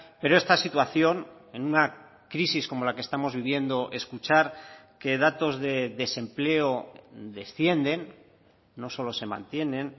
pero esta situación en una crisis como la que estamos viviendo escuchar que datos de desempleo descienden no solo se mantienen